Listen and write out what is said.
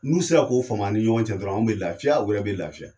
N'u sera k'o faamuya a ni ɲɔgɔncɛ dɔrɔn, anw bɛ lafiya o yɛrɛ bɛ lafiya.